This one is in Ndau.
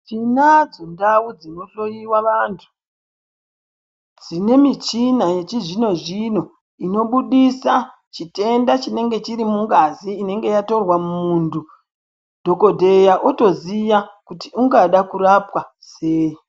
Tinadzo ndau dzinohloiwa vantu dzine michina yechizvino-zvino. Inobudisa chitenda chinenge chirimungazi inenge yatorwa muntu dhogodheya otoziya kuti ungada kurapwa sei.